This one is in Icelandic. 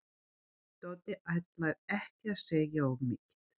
Doddi ætlar ekki að segja of mikið.